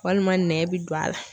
Walima nɛn bɛ don a la.